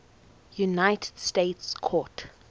united states court